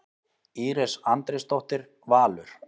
Íris Andrésdóttir, Valur.